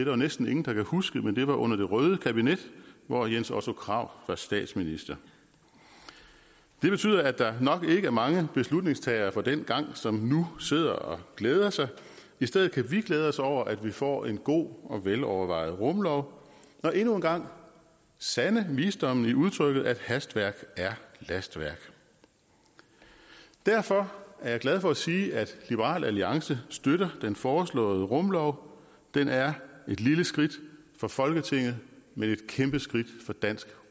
jo næsten ingen der kan huske men det var under det røde kabinet hvor jens otto krag var statsminister det betyder at der nok ikke er mange beslutningstagere fra dengang som nu sidder og glæder sig i stedet kan vi glæde os over at vi får en god og velovervejet rumlov og endnu en gang sande visdommen i udtrykket at hastværk er lastværk derfor er jeg glad for at sige at liberal alliance støtter den foreslåede rumlov den er et lille skridt for folketinget men et kæmpe skridt for dansk